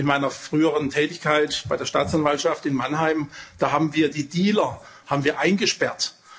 In meiner früheren Tätigkeit bei der Staatsanwaltschaft in Mannheim haben wir die Dealer eingesperrt.